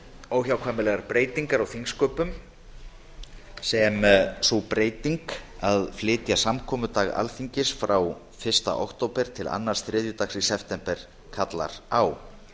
óhjákvæmilegar breytingar á þingsköpum sem sú breyting að flytja samkomudag alþingis frá fyrsta október til annars þriðjudags í september kallar á